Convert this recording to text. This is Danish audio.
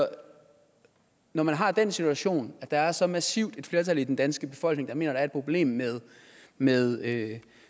når man har den situation at der er så massivt et flertal i den danske befolkning der mener der er et problem med med